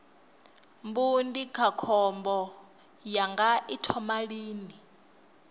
mbu ndindakhombo yanga i thoma lini